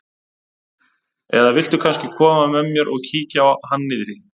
Eða viltu kannski koma með mér og kíkja á hann niðri?